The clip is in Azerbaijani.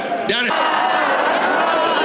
İsrail!